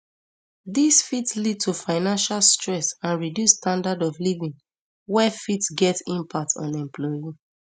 dis fit lead to financial stress and reduce standard of living wey fit get impact on employee